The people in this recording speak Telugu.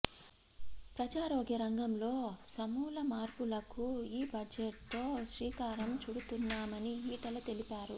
ప్రజారోగ్య రంగంలో సమూల మార్పులకు ఈ బడ్జెట్తో శ్రీకారం చుడుతున్నామని ఈటల తెలిపారు